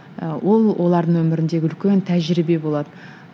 ы ол олардың өміріндегі үлкен тәжірибе болады